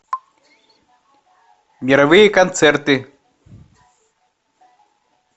мировые концерты